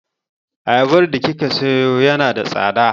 Ayabar da kika sayo yana da tsada.